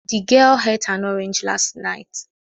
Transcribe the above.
The girl ate an orange last night